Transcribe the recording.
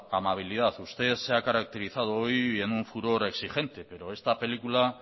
amabilidad usted se ha caracterizado hoy en un furor exigente pero esta película